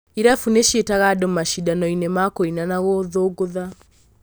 Irabu nĩciĩtaga andũ macĩndanoinĩ ma kũina na gũthũngũtha.